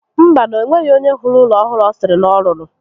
Mba nu, enweghi onye hụrụ ụlọ ọhụrụ ọ sịrị na ọ rụrụ